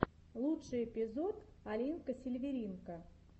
лучший эпизод алинка сильверинка